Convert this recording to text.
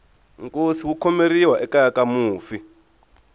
nkosi wu khomeriwa ekeya ka mufi